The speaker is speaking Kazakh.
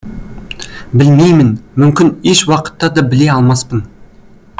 білмеймін мүмкін еш уақытта да біле алмаспын